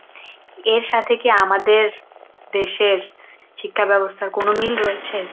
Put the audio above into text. এর সাথে কি আমাদের দেশের শিক্ষা ব্যবস্থার কোন মিল রয়েছে?